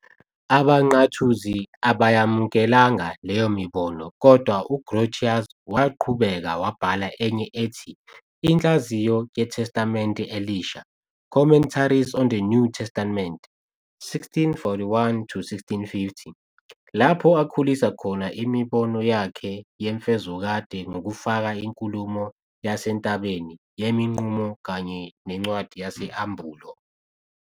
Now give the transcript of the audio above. AbaNqathuzi abayamukelanga leyo mibono kodwa uGrotius waqhubeka wabhala enye ethi "Inhlaziyo yeTestamenti Elisha", "Commentaries On The New Testament", 1641 to 1650, lapho akhulisa khona imibono yakhe yemfezokade ngokufaka inkulumo yaseNtabeni yemiNqumo kanye nencwadi yesAmbulo.